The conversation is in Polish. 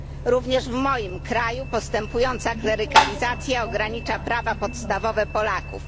Również w moim kraju postępująca klerykalizacja ogranicza prawa podstawowe Polaków.